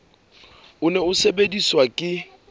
o ne o sebediswa ke